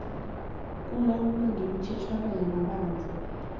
kulawulwa ngemithetjhwana yamabandla